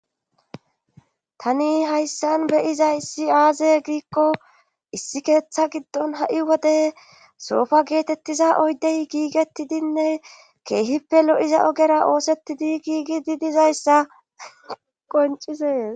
tani hayssan beyizayissi aaze giikko issi keeththa giddon ha7i wode soofa geetettiza oydey giigettidinne keehippe lo7iza ogera oosettidi giigi di dizayssa qoncizees